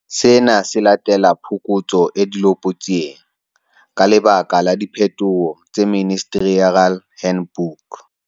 Sena se latela phokotso e dilopotsieng, ka lebaka la diphetoho tse Ministerial Handbook.